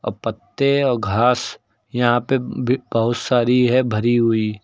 पत्ते और घास यहां पे भी बहोत सारी है भरी हुई।